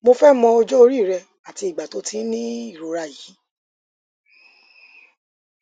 mo fẹ mọ ọjọ orí rẹ àti ìgbà tó o ti ń ní ìrora yìí